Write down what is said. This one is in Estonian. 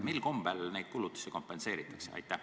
Mil kombel neid kulutusi kompenseeritakse?